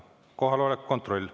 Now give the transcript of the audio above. Kohaloleku kontroll.